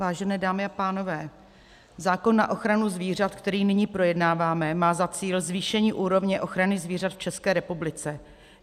Vážené dámy a pánové, zákon na ochranu zvířat, který nyní projednáváme, má za cíl zvýšení úrovně ochrany zvířat v České republice.